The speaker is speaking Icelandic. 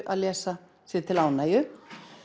lesa sér til ánægju